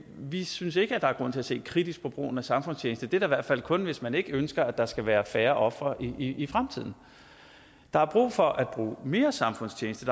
vi synes ikke at der er grund til at se kritisk på brugen af samfundstjeneste det er da i hvert fald kun hvis man ikke ønsker at der skal være færre ofre i fremtiden der er brug for at bruge mere samfundstjeneste